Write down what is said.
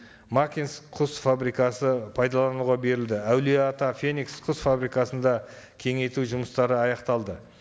макинск құс фабрикасы пайдалануға берілді әулие ата феникс құс фабрикасында кеңейту жұмыстары аяқталды